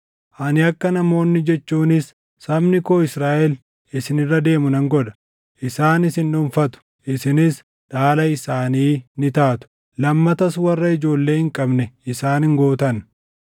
Ani akka namoonni jechuunis sabni koo Israaʼel isin irra deemu nan godha. Isaan isin dhuunfatu; isinis dhaala isaanii ni taatu; lammatas warra ijoollee hin qabne isaan hin gootan.